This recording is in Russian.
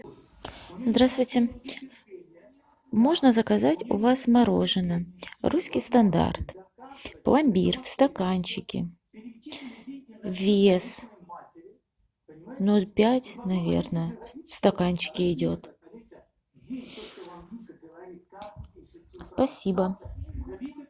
здравствуйте можно заказать у вас мороженое русский стандарт пломбир в стаканчике вес ноль пять наверное в стаканчике идет спасибо